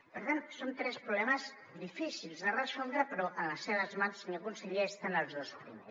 per tant són tres problemes difícils de resoldre però en les seves mans senyor conseller estan els dos primers